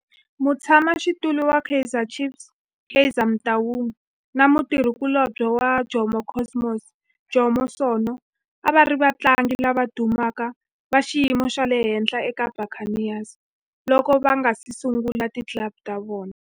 Mutshama xitulu wa Kaizer Chiefs Kaizer Motaung na mutirhi kulobye wa Jomo Cosmos Jomo Sono a va ri vatlangi lava dumeke va xiyimo xa le henhla eka Buccaneers loko va nga si sungula ti club ta vona.